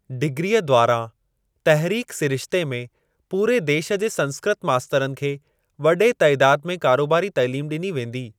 डिग्रीअ द्वारां तहरीक सिरिश्ते में पूरे देश जे संस्कृत मास्तरनि खे वॾे तइदाद में कारोबारी तइलीम ॾिनी वेंदी।